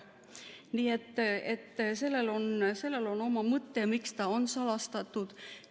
Nii et sellel on oma mõte, miks ta on salastatud.